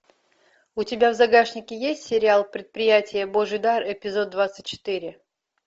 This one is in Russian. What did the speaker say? у тебя в загашнике есть сериал предприятие божий дар эпизод двадцать четыре